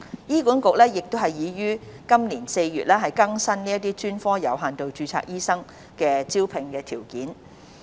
醫管局已於今年4月更新這些專科的有限度註冊醫生招聘條件。